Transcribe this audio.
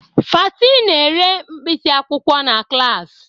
Fati na-ere mkpịsị akwụkwọ na klas.